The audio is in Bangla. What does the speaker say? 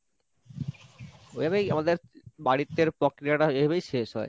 ঐভাবেই আমাদের বাড়িতের প্রক্রিয়াটা এভাবেই শেষ হয়।